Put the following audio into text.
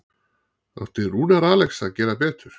Átti Rúnar Alex að gera betur?